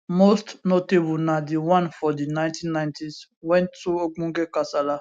most notable na di one for di 1990s wen two ogbonge kasala